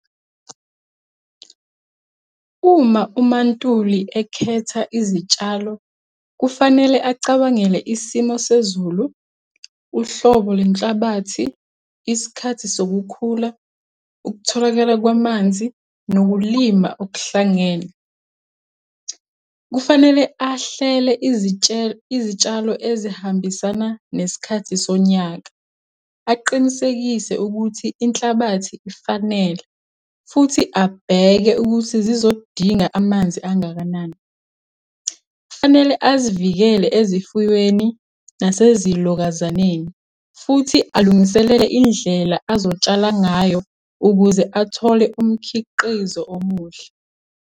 Uma umaNtuli ekhetha izitshalo, kufanele acabangele isimo sezulu, uhlobo lwenhlabathi, isikhathi sokukhula, ukutholakala kwamanzi, nokulima okuhlangene. Kufanele ahlele izitshalo ezihambisana nesikhathi sonyaka, aqinisekise ukuthi inhlabathi ifanele, futhi abheke ukuthi zizodinga amanzi angakanani. Kufanele azivikele ezifuweni, nasezilokazaneni, futhi alungiselele indlela azotshala ngayo, ukuze athole umkhiqizo omuhle.